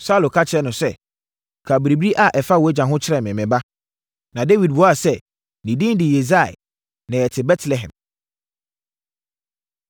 Saulo ka kyerɛɛ no sɛ, “Ka biribi a ɛfa wʼagya ho kyerɛ me, me ba.” Na Dawid buaa sɛ, “Ne din de Yisai, na yɛte Betlehem.”